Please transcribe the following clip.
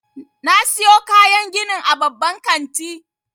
Na siyo kayan ginin a babban kanti.